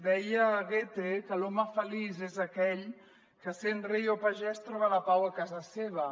deia goethe que l’home feliç és aquell que sent rei o pagès troba la pau a casa seva